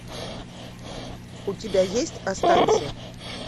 у тебя есть останься